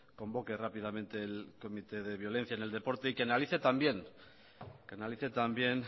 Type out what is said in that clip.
convoque rápidamente el comité de violencia en el deporte y que analice también que analice también